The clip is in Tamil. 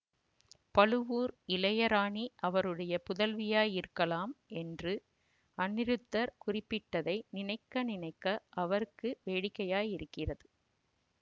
பழுவூர் இளைய ராணி அவருடைய புதல்வியாயிருக்கலாம் என்று அநிருத்தர் குறிப்பிட்டதை நினைக்க நினைக்க அவருக்கு வேடிக்கையாயிருக்கிறது